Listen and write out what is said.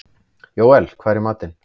Jóel, hvað er í matinn?